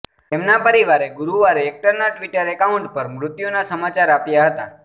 તેમના પરિવારે ગુરુવારે એક્ટરના ટિ્વટર એકાઉન્ટ પર મૃત્યુના સમાચાર આપ્યા હતા